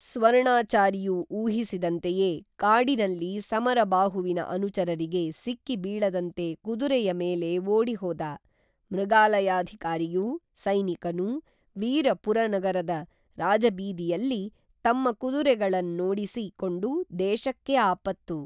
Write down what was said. ಸ್ವರ್ಣಾಚಾರಿಯು ಊಹಿಸಿದಂತೆಯೇ ಕಾಡಿನಲ್ಲಿ, ಸಮರಬಾಹುವಿನ ಅನುಚರರಿಗೆ ಸಿಕ್ಕಿ ಬೀಳದಂತೆ ಕುದುರೆಯ ಮೇಲೆ ಓಡಿಹೋದ, ಮೃಗಾಲಯಾಧಿಕಾರಿಯೂ, ಸೈನಿಕನೂ, ವೀರ ಪುರನಗರದ ರಾಜಬೀದಿಯಲ್ಲಿ ತಮ್ಮ ಕುದುರೆಗಳ ನ್ನೋಡಿಸಿ ಕೊಂಡು ದೇಶಕ್ಕೇ ಆಪತ್ತು